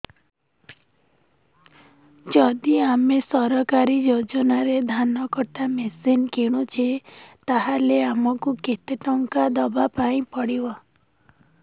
ଯଦି ଆମେ ସରକାରୀ ଯୋଜନାରେ ଧାନ କଟା ମେସିନ୍ କିଣୁଛେ ତାହାଲେ ଆମକୁ କେତେ ଟଙ୍କା ଦବାପାଇଁ ପଡିବ